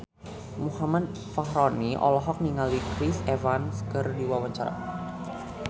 Muhammad Fachroni olohok ningali Chris Evans keur diwawancara